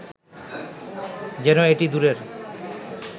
যেন এটি দূরের